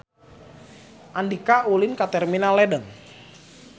Andika ulin ka Terminal Ledeng